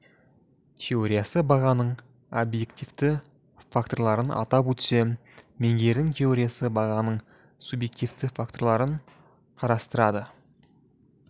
теориясы бағаның объективті факторларын атап өтсе менгердің теориясы бағаның субъективті факторларын қарастырады